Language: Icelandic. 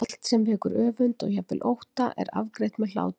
Allt sem vekur öfund og jafnvel ótta er afgreitt með hlátri.